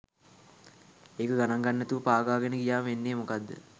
එක ගණන ගන්නේ නැතිව පාගාගෙන ගියාම වෙන්නේ මොකක්ද?